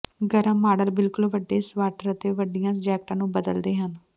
ਗਰਮ ਮਾਡਲ ਬਿਲਕੁਲ ਵੱਡੇ ਸਵਾਟਰ ਅਤੇ ਵੱਡੀਆਂ ਜੈਕਟਾਂ ਨੂੰ ਬਦਲਦੇ ਹਨ